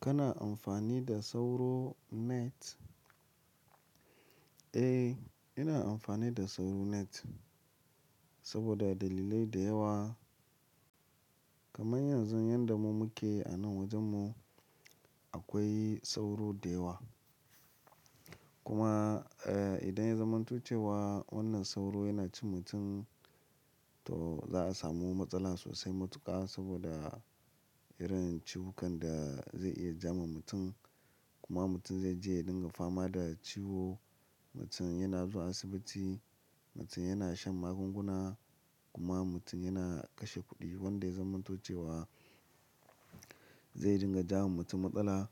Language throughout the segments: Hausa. Kana amfani da sauro net? Eh, ina amfani da sauro net saboda dalilai da yawa. Kaman yanzu yanda mu muke a nan wajen mu akwai sauro da yawa. Kuma, eh idan ya zamantuce wa wannan sauro yana cin mutum to za a samu matsala sosai matuƙa saboda irin ciwukan da zai iya ja ma mutum. Kuma mutum zai je ya dinga fama da ciwo, mutum yana zuwa asibiti, mutum yana shan magunguna kuma mutum yana kashe kuɗi wanda ya zamantuce wa zai dinga ja ma mutum matsala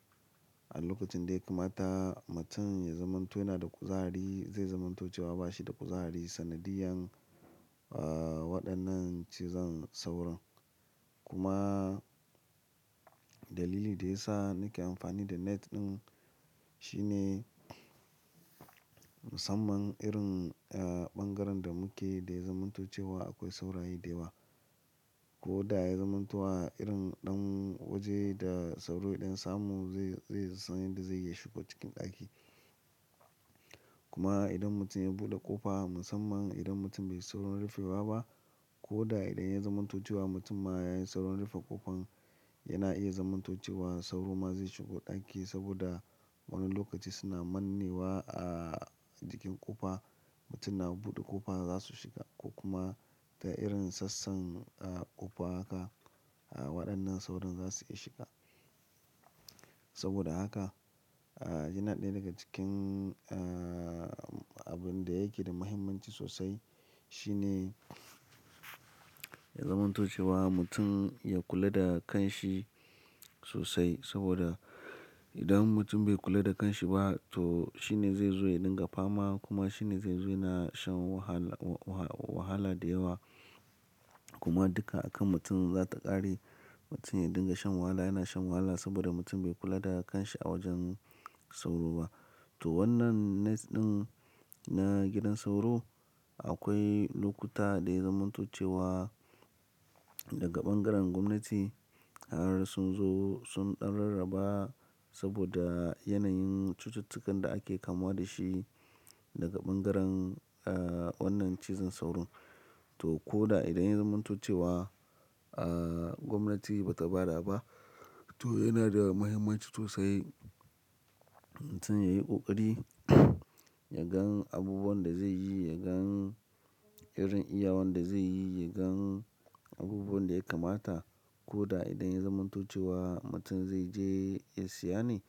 a lokacin da ya kamata mutum ya zamanto yana da kuzari zai zamantuce wa ba shi da kuzari sanadiyan, ah, waɗannan cizon sauro. Kuma dalili da ya sa nake amfani da net ɗin shine musamman irin, eh, ɓangaren da muke da ya zamantuce wa akwai saurayi da yawa. Ko da ya zamanto wa irin ɗan waje da sauro ɗin samu zai, zai sani da zai iya shiga cikin ɗaki. Kuma idan mutum ya buɗe ƙofa musamman idan mutum bai yi sauron rufewa ba ko da idan ya zamantuce wa mutum ma ya yi sauron rufe ƙofan yana iya zamantuce wa sauro ma zai shigo ɗaki saboda wani lokaci suna manne wa a cikin ƙofa. Mutum na buɗe ƙofa za su shiga ko kuma ta irin sassan, a, ƙofa haka. Waɗannan sauron za su iya shiga. Saboda haka, a, yana ɗaya daga cikin, a, abin da yake da muhimmanci sosai shine ya zamantuce wa mutum ya kula da kan shi sosai saboda idan mutum bai kula da kan shi ba to shine zai zo ya dinga fama kuma shine zai zo yana shan wahala, wahala da yawa kuma duka a kan mutum za ta ƙare. Mutum ya dinga shan wahala yana shan wahala saboda mutum bai kula da kan shi a wajen sauro ba. To wannan net ɗin na gidan sauro akwai lokuta da ya zamantuce wa daga ɓangaren gwamnati har sun zo sun ɗan rarraba saboda yanayin cututtukan da ake kamuwa da shi daga ɓangaren, a, wannan cizon sauro. To ko da idan ya zamantuce wa, a, gwamnati ba ta bada ba to yana da muhimmanci sosai mutum ya yi ƙoƙari ya gan abubuwan da zai yi, ya gan irin iyawan da zai yi, ya gan abubuwan da ya kamata ko da idan ya zamantuce wa mutum zai je ya siya ne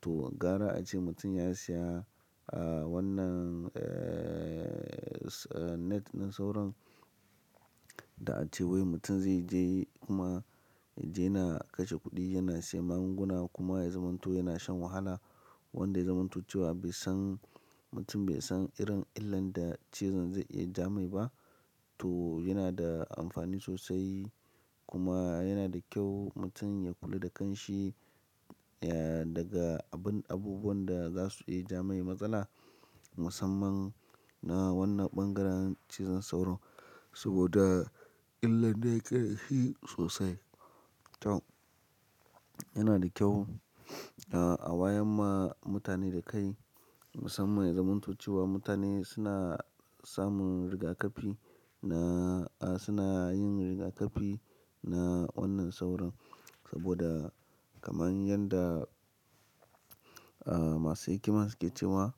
to gara a ce mutum ya siya, a, wannan, eeh, net ɗin sauro da a ce wai mutum zai je kuma yana kashe kuɗi yana siya magunguna kuma ya zamanto yana shan wahala wanda ya zamantuce wa bai san mutum bai san irin illan da cizon zai iya ja mai ba to yana da amfani sosai kuma yana da kyau mutum ya kula da kan shi, eh, daga abin abubuwan da za su iya ja mai matsala musamman na wannan ɓangaren cizon sauro saboda illan da yake da shi sosai. To yana da kyau, a, a wayar ma mutane da kai musamman ya zamantuce wa mutane suna samun rigakafi na, a, suna yin rigakafi na wannan sauro saboda kaman yanda, a, masu hikima suke cewa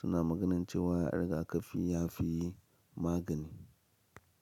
suna maganance wa a rigakafi ya fi yi magani.